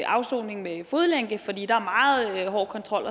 afsoning med fodlænke fordi der er meget hård kontrol